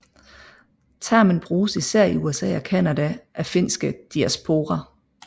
Termen bruges især i USA og Canada af finske diaspora